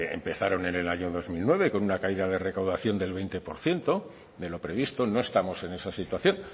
empezaron en el año dos mil nueve con una caída de recaudación del veinte por ciento de lo previsto no estamos en esa situación